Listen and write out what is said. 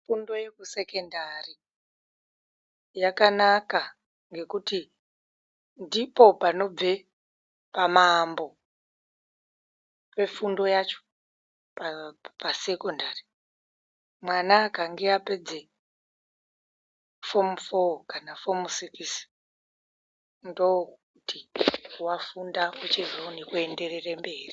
Fundo yekusekendari yakanaka ngekuti ndipo panobve pamaambo pafundo yacho pasekondari. Mwana akange apedze fomu foo kana fomu sikisi ndokuti vafunda kochizoone kuenderere mberi.